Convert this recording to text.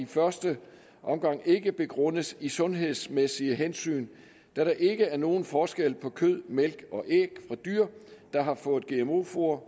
første ikke begrundes i sundhedsmæssige hensyn da der ikke er nogen forskel på kød mælk og æg fra dyr der har fået gmo foder